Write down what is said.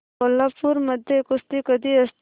कोल्हापूर मध्ये कुस्ती कधी असते